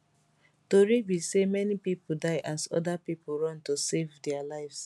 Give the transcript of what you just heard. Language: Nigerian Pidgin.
tori be say many pipo die as oda pipo run to save dia lives